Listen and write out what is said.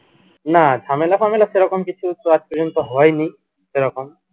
না ঝামেলা ফামেলা সেরকম কিছু তো আজ পযন্ত সেরকম